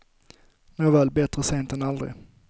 Nåväl, bättre sent än aldrig.